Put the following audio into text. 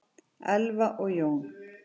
Elfa og Jón.